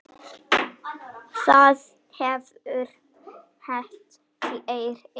Það hefur hent fleiri.